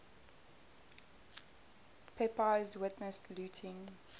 pepys witnessed looting